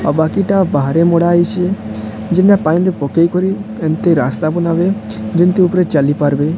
ଆଉ ବାକିଟା ବାହାରେ ମଡ଼ା ହେଇଚେ। ମେନ୍ ଟା ପାଣିରେ ପକେଇ କରି ହେନ୍ତି ରାସ୍ତା ବନାବେ। ଯେନ୍ତି ଉପରେ ଚାଲି ପାରବେ।